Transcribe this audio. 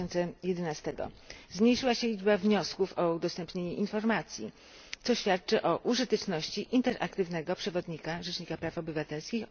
2011. Zmniejszyła się liczba wniosków o udostępnienie informacji, co świadczy o użyteczności interaktywnego przewodnika Rzecznika Praw Obywatelskich.